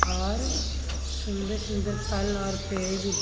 और सुंदर सुंदर फल और पेड़े भी.